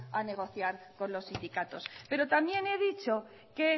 a negociar con los sindicatos pero también he dicho que